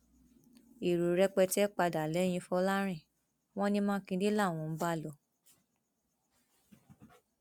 èrò rẹpẹtẹ padà lẹyìn fọlọrìn wọn ní mákindé làwọn ń bá lọ